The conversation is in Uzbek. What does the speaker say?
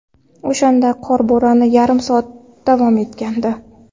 O‘shanda qor bo‘roni yarim soat davom etgandi.